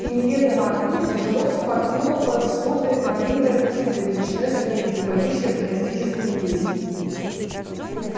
и неведомо откуда тяжело впорхнула под своды малиновая птица величиной с лебедя поющая фантастическую песнь